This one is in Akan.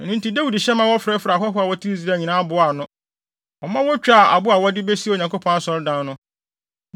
Ɛno nti Dawid hyɛ ma wɔfrɛfrɛɛ ahɔho a wɔte Israel nyinaa boaa ano. Ɔma wotwaa abo a wɔde besi Onyankopɔn Asɔredan no.